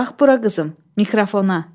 Bax bura qızım, mikrofona.